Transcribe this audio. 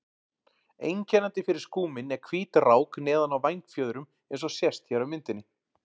Einkennandi fyrir skúminn er hvít rák neðan á vængfjöðrum eins og sést hér á myndinni.